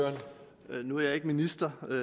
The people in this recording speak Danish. nu er jeg ikke minister man